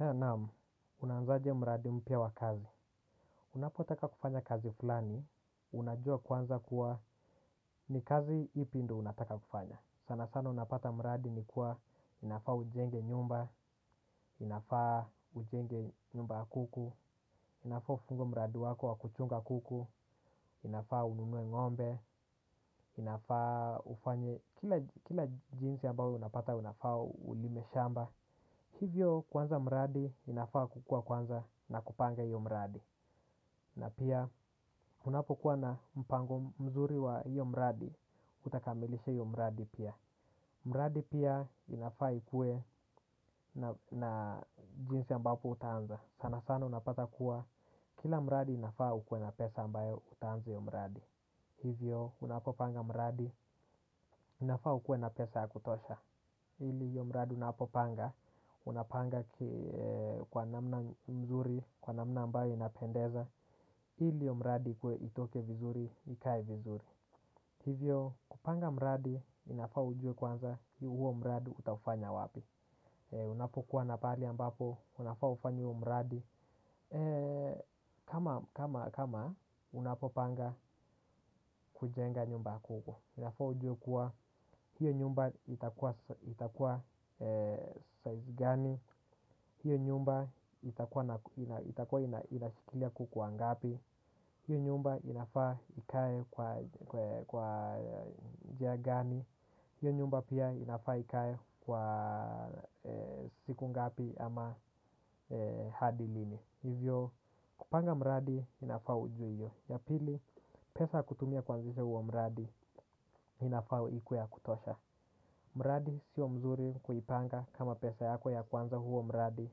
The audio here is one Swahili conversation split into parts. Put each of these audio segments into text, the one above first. Naam, unaanzaje mradi mpya wa kazi? Unapotaka kufanya kazi fulani, unajua kwanza kuwa ni kazi ipi ndo unataka kufanya. Sana sana unapata mradi ni kuwa unafaa ujenge nyumba, unafaa ujenge nyumba ya kuku. Inafaa ufungue mradi wako wa kuchunga kuku, inafaa ununue ng'ombe, inafaa ufanye kila jinsi ambayo unapata unafaa ulime shamba. Hivyo kuanza mradi inafaa kukua kwanza na kupanga hiyo mradi. Na pia unapokuwa na mpango mzuri wa hiyo mradi utakamilisha hiyo mradi pia. Mradi pia inafaa ikuwe na jinsi ambapo utaanza. Sana sana unapata kuwa kila mradi inafaa ukuwe na pesa ambayo utaanza hiyo mradi. Hivyo unapopanga mradi inafaa ukuwe na pesa ya kutosha. Ili hiyo mradi unapopanga unapanga kwa namna nzuri, kwa namna ambayo inapendeza. Ili hiyo mradi ikuwe itoke vizuri, ikae vizuri. Hivyo kupanga mradi inafaa ujue kwanza huo mradi utafanya wapi. Unapokuwa na pahali ambapo unafaa ufanye huo mradi, kama unapopanga kujenga nyumba huko inafaa ujue kuwa hiyo nyumba itakuwa itakuwa size gani, hiyo nyumba itakuwa inashikilia kuku wangapi, hiyo nyumba inafaa ikae kwa njia gani hiyo nyumba pia inafaa ikae kwa siku ngapi ama hadi lini. Hivyo kupanga mradi inafaa ujue hiyo. Ya pili, pesa ya kutumia kuanzisha huo mradi inafaa ikuwe ya kutosha. Mradi sio mzuri kuipanga kama pesa yako ya kwanza huo mradi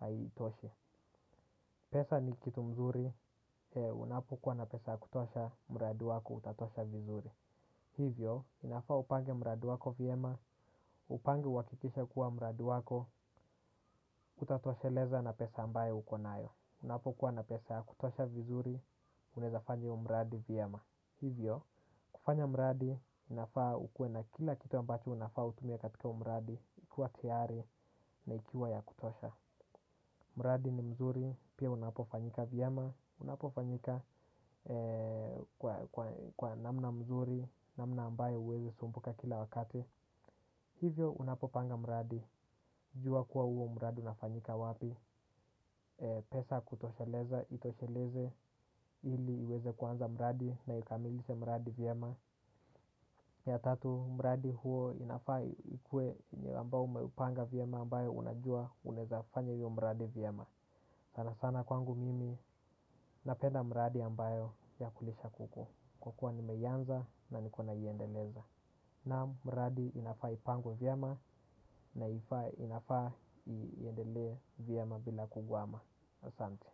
haitoshe. Pesa ni kitu mzuri, unapokuwa na pesa ya kutosha, mradi wako utatosha vizuri. Hivyo, inafaa upange mradi wako vyema, upange uhakikishe kuwa mradi wako utatosheleza na pesa ambayo uko nayo. Unapokuwa na pesa ya kutosha vizuri, unaweza fanya hiyo mradi vyema. Hivyo, kufanya mradi inafaa ukuwe na kila kitu ambacho unafaa utumie katika huo mradi ikuwe tiyari na ikiwa ya kutosha. Mradi ni mzuri pia unapofanyika vyema, unapofanyika kwa namna mzuri, namna ambayo huwezei sumbuka kila wakati. Hivyo unapopanga mradi jua kuwa huo mradi unafanyika wapi. Pesa ya kutosheleza itosheleze ili iweze kuanza mradi na ikamilishe mradi vyema. Ya tatu mradi huo inafaa ikuwe yenye ambao umeipanga vyema ambayo unajua unaweza fanya hiyo mradi vyema. Sana sana kwangu mimi napenda mradi ambayo ya kulisha kuku kwa kuwa nimeianza na niko naiendeleza. Na mradi inafaa ipangwe vyema na inafaa iendelee vyema bila kuguama. Asante.